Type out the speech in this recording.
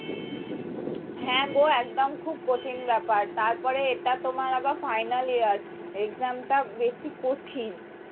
হ্যাঁ গো একদম খুব কঠিন ব্যাপার তারপরে এটা তোমার আবার final year exam টা বেশি কঠিন